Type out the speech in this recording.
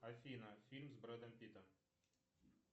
афина фильм с брэдом питтом